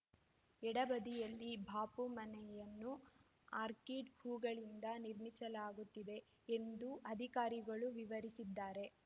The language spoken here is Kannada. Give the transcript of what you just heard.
ಎಡ ಬದಿಯಲ್ಲಿ ಬಾಪು ಮನೆಯನ್ನು ಆರ್ಕಿಡ್‌ ಹೂವುಗಳಿಂದ ನಿರ್ಮಿಸಲಾಗುತ್ತಿದೆ ಎಂದು ಅಧಿಕಾರಿಗಳು ವಿವರಿಸಿದ್ದಾರೆ